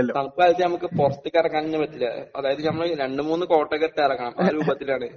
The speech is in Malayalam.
തണുപ്പ് കാലത്ത് നമുക്ക് പുറത്തേക്കിറങ്ങാൻ ഒന്നും പറ്റില്ല. അതായത് നമ്മൾ രണ്ട് മൂന്ന് കോട്ടൊക്കെയിട്ട് ഇറങ്ങണം. ആ രൂപത്തിലാണ്.